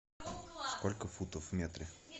сколько футов в метре